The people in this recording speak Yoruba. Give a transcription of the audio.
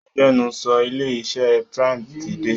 Agbẹnusọ ilé iṣẹ Prime ti dé.